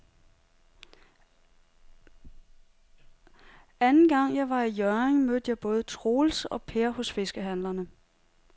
Anden gang jeg var i Hjørring, mødte jeg både Troels og Per hos fiskehandlerne.